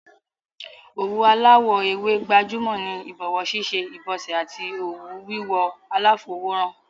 Òwú aláwò ewé gbajúmò ni ìbòwó síṣe, ìbòsè àti oun wíwò aláfowó ran